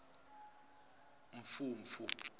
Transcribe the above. mfumfu